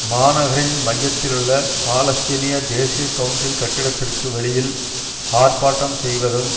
மாநகரின் மையத்திலுள்ள பாலஸ்தீனிய தேசிய கவுன்சில் கட்டிடத்திற்கு வெளியில் ஆர்ப்பாட்டம் செய்வதும்